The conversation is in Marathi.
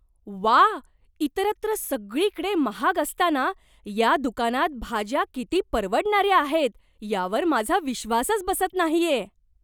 व्वा, इतरत्र सगळीकडे महाग असताना या दुकानात भाज्या किती परवडणाऱ्या आहेत यावर माझा विश्वासच बसत नाहीये!